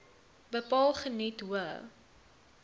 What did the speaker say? bepaal geniet hoë